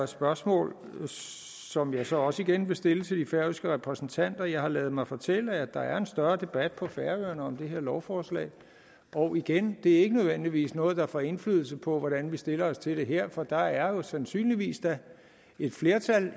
spørgsmål som jeg så også igen vil stille til de færøske repræsentanter jeg har ladet mig fortælle at der er en større debat på færøerne om det her lovforslag og igen det er ikke nødvendigvis noget der får indflydelse på hvordan vi stiller os til det her for der er jo da sandsynligvis et flertal